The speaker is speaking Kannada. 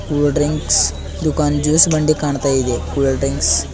ಕೂಲ್ ಡ್ರಿಂಕ್ಸ್ ದುಕಾನ್ ಜ್ಯೂಸ್ ಬಂಡಿ ಕಾಣ್ತಾಯಿದೆ ಕೂಲ್ ಡ್ರಿಂಕ್ಸ್ --